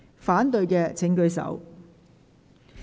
反對的請舉手。